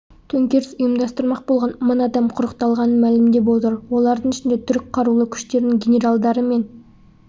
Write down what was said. төңкеріс ұйымдастырмақ болған мың адам құрықталғанын мәлімдеп отыр олардың ішінде түрік қарулы күштерінің генералдары мен